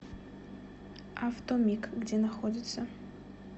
автомиг где находится